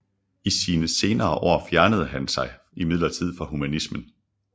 I sine senere år fjernede han sig imidlertid fra humanismen